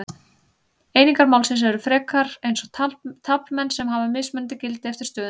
Einingar málsins eru frekar eins og taflmenn sem hafa mismunandi gildi eftir stöðunni.